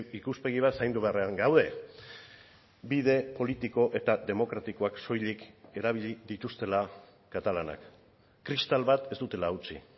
ikuspegi bat zaindu beharrean gaude bide politiko eta demokratikoak soilik erabili dituztela katalanak kristal bat ez dutela hautsi